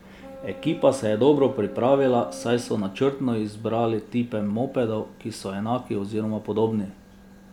Ekipa se je dobro pripravila, saj so načrtno izbrali tipe mopedov, ki so enaki oziroma podobni.